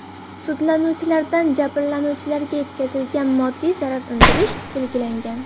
Sudlanuvchilardan jabrlanuvchilarga yetkazilgan moddiy zarar undirish belgilangan.